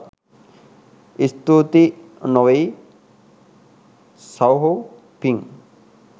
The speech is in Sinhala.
ස්තූතියි නෙවෙයි සහෝ පිං